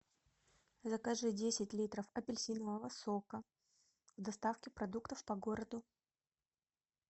закажи десять литров апельсинового сока в доставке продуктов по городу